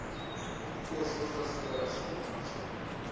umkhosi ohlaselayo asingomajoni